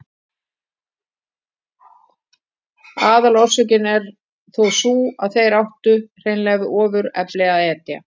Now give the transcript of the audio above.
Aðalorsökin er þó sú að þeir áttu hreinlega við ofurefli að etja.